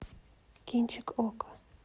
кинчик окко